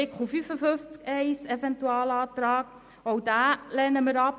Den Eventualantrag zu Artikel 55 Absatz 1 lehnen wir auch ab.